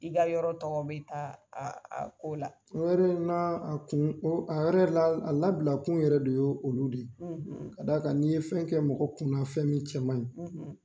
I ka yɔrɔ tɔgɔ bɛ taa a a ko la. O yɛrɛ n'a a kun, o a yɛrɛ la a labila kun yɛrɛ de ye olu de ye, , ka' d'a kan ni ye fɛn kɛ mɔgɔ kunna fɛn min cɛ man ɲi